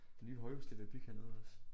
De nye højhuse de er ved at bygge hernede også